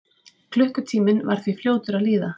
Klukkutíminn var því fljótur að líða.